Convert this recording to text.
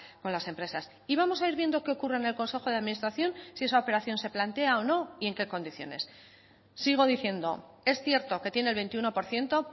con las empresas y vamos a ir viendo qué ocurre en el consejo de administración si esa operación se plantea o no y en qué condiciones sigo diciendo es cierto que tiene el veintiuno por ciento